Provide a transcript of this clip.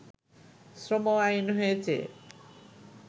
শ্রম আইন হয়েছে